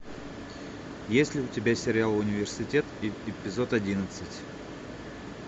есть ли у тебя сериал университет эпизод одиннадцать